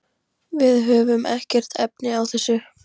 Við höfum ekkert efni á þessu.